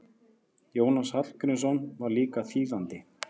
Jónas Hallgrímsson var líka þýðandi.